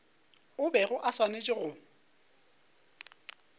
o bego o swanetše go